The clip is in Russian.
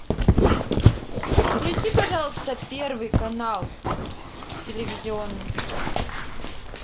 включи пожалуйста первый канал телевизионный